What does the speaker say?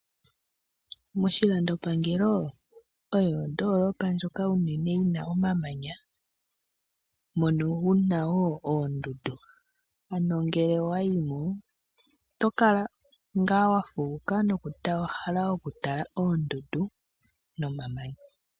Moshilando pangelo omo modoolopa mono unene muna omamanya, mono muna woo oondundu. Ano ngele owayi mo otokala wafuuka nowahala okutala oondundu nomamanya.